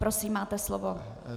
Prosím, máte slovo.